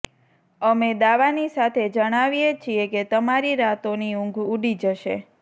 અમે દાવાની સાથે જણાવીએ છીએ કે તમારી રાતોની ઊંઘ ઉડી જશે